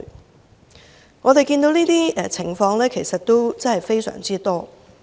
就我們所見，這種情況其實非常多。